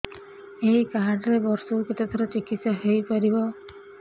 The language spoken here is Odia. ଏଇ କାର୍ଡ ରେ ବର୍ଷକୁ କେତେ ଥର ଚିକିତ୍ସା ହେଇପାରିବ